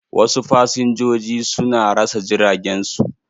Wasu fasinjoji su na rasa jiragen su.